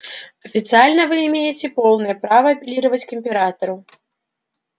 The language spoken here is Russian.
официально вы имеете полное право апеллировать к императору